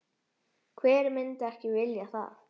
Hver myndi ekki vilja það?